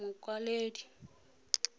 mokwaledi